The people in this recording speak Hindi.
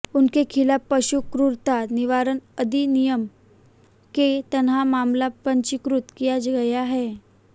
उनके खिलाफ पशु क्रूरता निवारण अधिनियम के तहत मामला पंजीकृत किया गया है